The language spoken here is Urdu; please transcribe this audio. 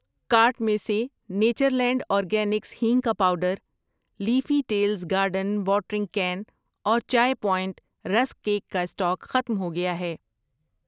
کارٹ میں سے نیچرلینڈ اورگینکس ہینگ کا powder, Leafy Tales garden watering can اور چائے پوائنٹ رسک کیک کا اسٹاک ختم ہوگیا ہے۔